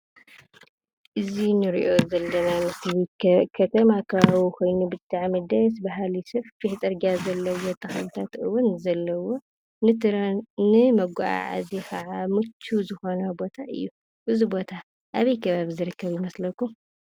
እዚ እንሪኦ ዘለና ምስሊ ከተማ ከባቢ ኮይኑ ብጣዕሚ ደስ... በሃሊ ሰፊሕ ፅርጊያ ዘለዎ ተኽልታት እውን እዩ ዘለዎ፣ ንመጓዓዓዚ ከዓ ምችው ዝኮነ ቦታ እዩ። እዚ ቦታ አበይ ከባቢ ዝርከብ ይመስለኩም?